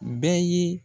Bɛɛ ye